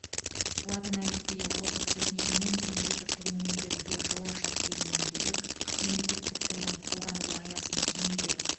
латын әліпбиі озық техника мен компьютер тілін меңгеруге жол ашады дегеннен бөлек мемлекеттік тілдің қолданылу аясын кеңейтеді